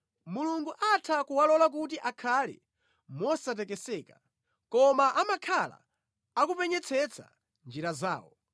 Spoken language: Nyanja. Mulungu atha kuwalola kuti akhale mosatekeseka, koma amakhala akupenyetsetsa njira zawo.